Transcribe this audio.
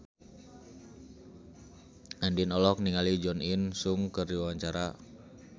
Andien olohok ningali Jo In Sung keur diwawancara